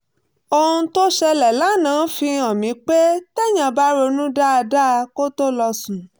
ohun tó ṣẹlẹ̀ lánàá fi hàn mí pé téèyàn bá ronú dáadáa kó tó lọ sùn